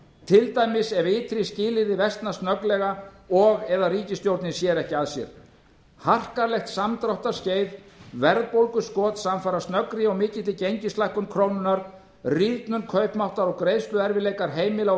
til dæmis ef ytri skilyrði versna snögglega og eða ríkisstjórnin sér ekki að sér harkalegt samdráttarskeið verðbólguskot samfara snöggri og mikilli gengislækkun krónunnar rýrnun kaupmáttar og greiðsluerfiðleikar heimila og